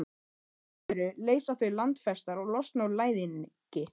Eitt af öðru leysa þau landfestar og losna úr læðingi.